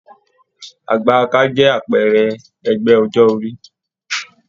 Àgbà-aka jẹ àpẹẹrẹ ẹgbẹ ọjọ orí.